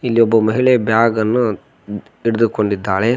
ಇಲ್ಲಿ ಒಬ್ಬ ಮಹಿಳೆ ಬ್ಯಾಗ್ ಅನ್ನು ಹಿಡಿದುಕೊಂಡಿದ್ದಾಳೆ.